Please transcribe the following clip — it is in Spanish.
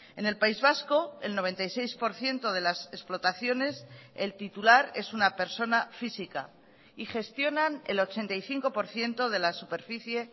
en el país vasco el noventa y seis por ciento de las explotaciones el titular es una persona física y gestionan el ochenta y cinco por ciento de la superficie